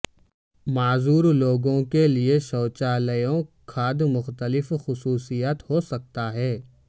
معذور لوگوں کے لئے شوچالیوں کھاد مختلف خصوصیات ہو سکتا ہے